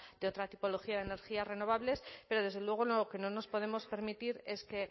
de otra tipología de energías renovables pero desde luego lo que no nos podemos permitir es que